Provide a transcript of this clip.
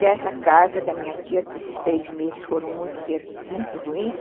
Dessa casa da minha tia, esses três meses foram muito ruins.